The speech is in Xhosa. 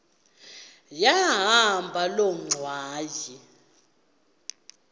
yahamba loo ngxwayi